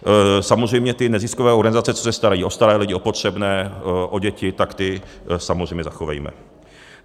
Samozřejmě ty neziskové organizace, co se starají o staré lidi, o potřebné, o děti, tak ty samozřejmě zachovejme.